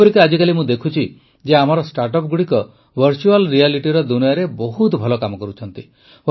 ଯେପରିକି ଆଜିକାଲି ମୁଁ ଦେଖୁଛି ଯେ ଆମର ଷ୍ଟାର୍ଟଅପଗୁଡ଼ିକ ଭର୍ଚୁଆଲ୍ ରିଆଲିଟିର ଦୁନିଆରେ ବହୁତ ଭଲ କାମ କରୁଛନ୍ତି